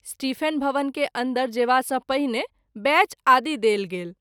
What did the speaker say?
Stephen भवन के अन्दर जेवा सँ पहिने बैच आदि देल गेल।